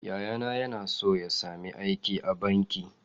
Yayana yana so ya sami aiki a banki.